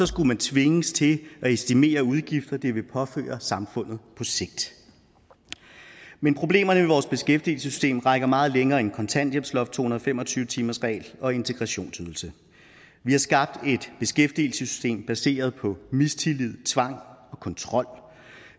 skulle den tvinges til at estimere de udgifter det ville påføre samfundet på sigt men problemerne ved vores beskæftigelsessystem rækker meget længere end kontanthjælpsloft to hundrede og fem og tyve timersregel og integrationsydelse vi har skabt et beskæftigelsessystem baseret på mistillid tvang og kontrol